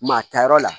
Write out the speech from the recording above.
Maa tayɔrɔ la